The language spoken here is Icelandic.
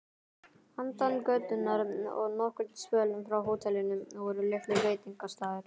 Handan götunnar og nokkurn spöl frá hótelinu voru litlir veitingastaðir.